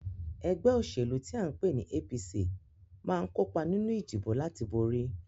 Ẹgbẹ́ òṣèlú tí à ń pè ní APC máa ń kópa nínú ìdìbò láti borí